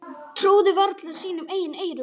Trúðu varla sínum eigin eyrum.